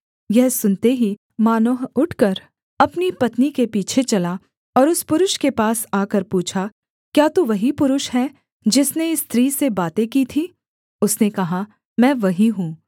यह सुनते ही मानोह उठकर अपनी पत्नी के पीछे चला और उस पुरुष के पास आकर पूछा क्या तू वही पुरुष है जिसने इस स्त्री से बातें की थीं उसने कहा मैं वही हूँ